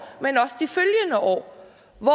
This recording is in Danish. hvor